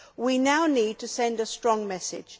We now need to send a strong message.